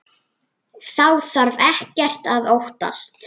Þá þarf ekkert að óttast.